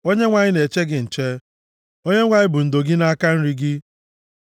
Onyenwe anyị na-eche gị nche, Onyenwe anyị bụ ndo + 121:5 \+xt Aịz 25:4\+xt* gị nʼaka nri gị;